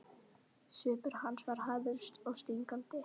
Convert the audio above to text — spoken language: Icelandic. Svipur hans var harður og stingandi.